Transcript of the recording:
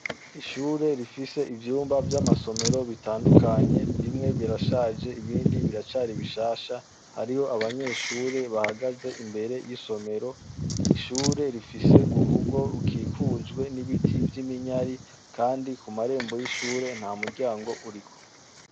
Ishure rifise ivyumba vya masomero bitandukanye bimwe birashaje nibindi bishasha hariyo abanyeshure bahagaze imbere yisomero .ishure rifise murugo rukikujwe rwiminyari Kandi kumarembo ntamuryango uhari.